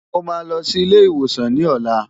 Mo máa lọ sí ilé ìwòsàn ní ọ̀la.